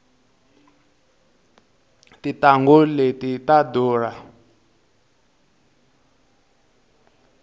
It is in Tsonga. tintanghu leti ta durha